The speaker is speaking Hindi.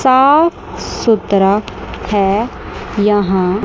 साफ सुतरा है यहां--